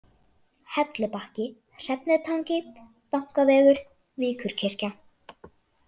Hellubakki, Hrefnutangi, Bankavegur, Víkurkirkja